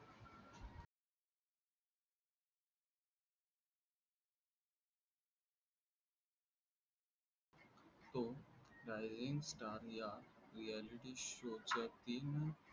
the rising starreality या show च्या तीन